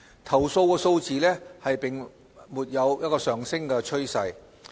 投訴數字並沒有上升趨勢。